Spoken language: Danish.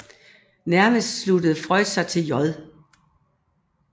Nærmest sluttede Freund sig til J